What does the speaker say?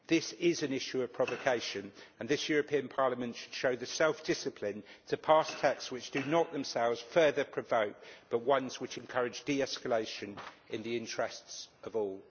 This is an issue of provocation, and this European Parliament should show the self discipline to pass texts which do not themselves further provoke, but which encourage de escalation in the interests of all.